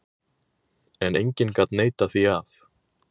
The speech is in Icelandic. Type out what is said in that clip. En enginn gat neitað því að